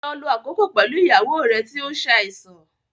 Lọ lo àkókò pẹ̀lú ìyàwó rẹ tí ó ń ṣàìsàn